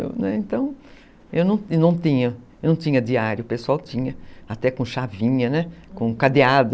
Então, eu não não tinha diário, o pessoal tinha, até com chavinha, né, uhum, com cadeado.